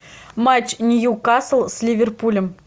матч ньюкасл с ливерпулем